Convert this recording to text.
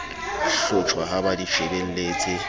hlotjhwa ha ba di shebelletse